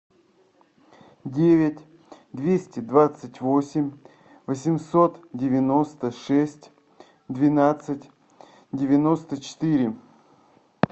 девять двести двадцать восемь восемьсот девяносто шесть двенадцать девяносто четыре